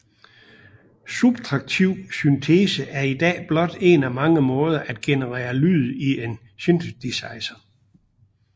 Subtraktiv syntese er i dag blot en af mange måder at genere lyd i en synthesizer